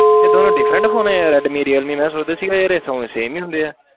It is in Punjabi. ਇਹ ਦੋਨੋਂ different phone ਆ ਰੈਡਮੀ ਰੀਅਲਮੀ, ਮੈਂ ਸੋਚਦਾ ਸੀ ਯਾਰ ਇਹ ਦੋਵੇਂ same ਹੀ ਹੁੰਦੇ ਆ।